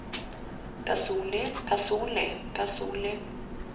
personlig personlig personlig